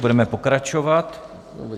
Budeme pokračovat.